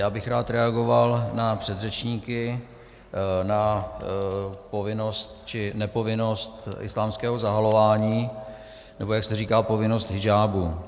Já bych rád reagoval na předřečníky, na povinnost či nepovinnost islámského zahalování, nebo, jak se říká, povinnost hidžábu.